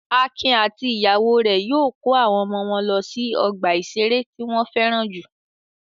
Akin àti ìyàwó rẹ̀ yóò kó àwọn ọmọ wọn lọ sí ọgbà-ìṣeré tí wọ́n fẹ́ràn jù lọ.